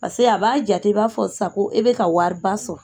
Pase a b'a jate b'a fɔ sisan ko e be ka wariba sɔrɔ